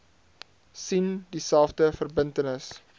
sien dieselfde verbintenis